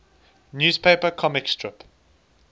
newspaper comic strip